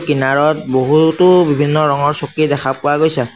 কিনাৰত বহুতো বিভিন্ন ৰঙৰ চকী দেখা পোৱা গৈছে।